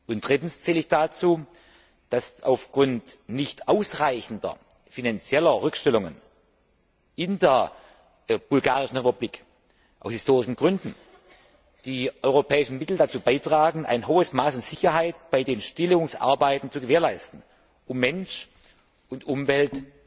Und drittens zähle ich dazu, dass auf Grund nicht ausreichender finanzieller Rückstellungen in der Republik Bulgarien aus historischen Gründen die europäischen Mittel dazu beitragen, ein hohes Maß an Sicherheit bei den Stilllegungsarbeiten zu gewährleisten, um Mensch und Umwelt